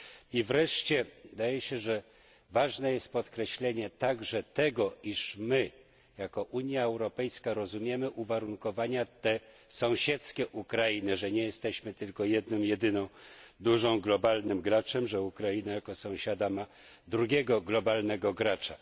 I wreszcie wydaje się, że ważne jest podkreślenie także tego, iż my jako Unia Europejska rozumiemy uwarunkowania sąsiedzkie Ukrainy że nie jesteśmy tylko jedynym dużym globalnym graczem, ale że Ukraina jako sąsiada ma drugiego globalnego gracza.